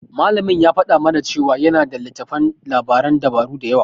Malamin ya faɗa mana cewa yana da littattafan labaran dabaru da yawa.